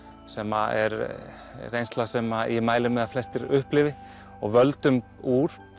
sem er reynsla sem ég mæli með að flestir upplifi og völdum úr